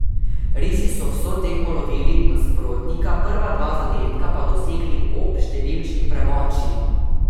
Risi so vso tekmo lovili nasprotnika, prva dva zadetka pa dosegli ob številčni premoči.